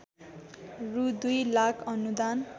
रु दुई लाख अनुदान